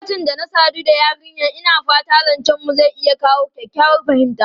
Lokacin da na sadu da yarinyar, ina fata zancenmu zai iya kawo kyakkyawar fahimta.